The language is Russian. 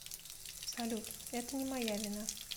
салют это не моя вина